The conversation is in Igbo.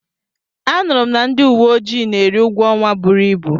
Anụrụ m na ndị uwe ojii na-eri ụgwọ ọnwa buru ibu.